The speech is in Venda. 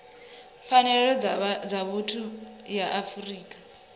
pfanelo dza vhuthu ya afrika